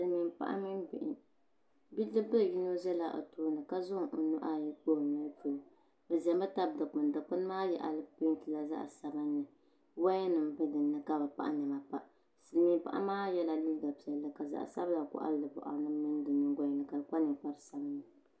Silmiin paɣa mini bihi bidib bili yino ʒɛla o tooni ka zaŋ o nuhi ayi kpa o noli polo bi ʒɛmi tabi dikpuni dikpuni maa peentila zaɣ sabinli woya nim bɛ dinni ka bi pahi niɛma pa silmiin paɣa maa yɛla liiga piɛlli ka zaɣ sabila koɣali di boɣari ni mini di nyingoli ni ka o kpa ninkpari sabinli